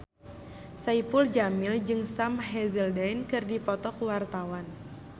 Saipul Jamil jeung Sam Hazeldine keur dipoto ku wartawan